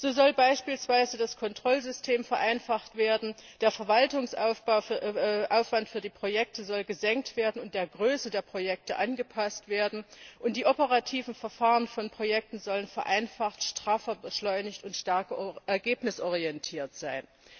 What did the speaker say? So soll beispielsweise das Kontrollsystem vereinfacht werden, der Verwaltungsaufwand für die Projekte soll gesenkt und der Größe der Projekte angepasst werden, und die operativen Verfahren von Projekten sollen vereinfacht, straffer, beschleunigt und stärker ergebnisorientiert sein.